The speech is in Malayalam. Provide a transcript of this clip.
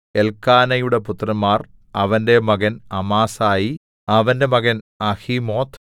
എല്ക്കാനയുടെ പുത്രന്മാർ അവന്റെ മകൻ അമാസായി അവന്റെ മകൻ അഹിമോത്ത്